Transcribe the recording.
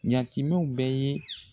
Yatimɛw bɛ ye.